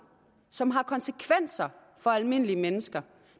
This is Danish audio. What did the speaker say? som har konsekvenser for almindelige mennesker